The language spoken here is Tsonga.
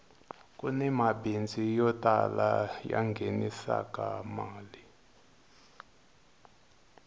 kuni mabindzu yo tala ya nghenisaka mali